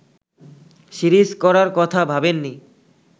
series করার কথা ভাবেননি